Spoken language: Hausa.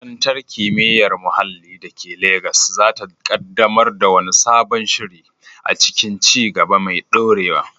Makarantar Kimiyyar Muhalli da ke Legas za ta kaddamar da wani sabon shiri a cikin ci gaba mai dorewa.